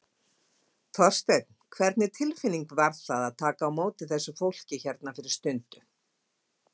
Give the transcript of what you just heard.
Þorsteinn, hvernig tilfinning var það að taka á móti þessu fólki hérna fyrir stundu?